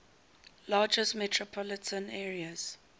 largest metropolitan areas